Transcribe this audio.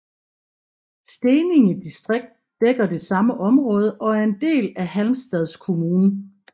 Steninge distrikt dækker det samme område og er en del af Halmstads kommun